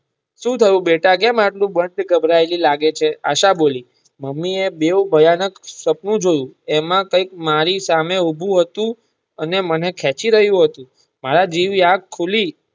સુ થયું બેટા કેમ આટલી ગભરાયેલી લાગે છે મમ્મી મેં બોવ ભયાનક સપનું જોયું એમાં કંઈક મારી સામે ઉભું હતું અને મને ખેંચી રહયું હતું મારી જેવી આંખ ખુલી.